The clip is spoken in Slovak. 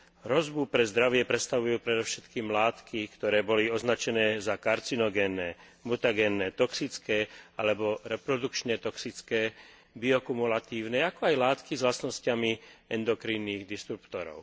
Hrozbu pre zdravie predstavujú predovšetkým látky, ktoré boli označené za karcinogénne, mutagénne, toxické alebo reprodukčne toxické, biokumulatívne, ako aj látky s vlastnosťami endokrinných disruptorov.